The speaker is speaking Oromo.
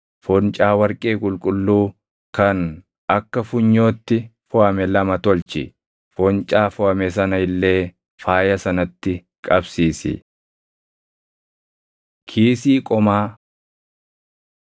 foncaa warqee qulqulluu kan akka funyootti foʼame lama tolchi; foncaa foʼame sana illee faaya sanatti qabsiisi. Kiisii Qomaa 28:15‑28 kwf – Bau 39:8‑21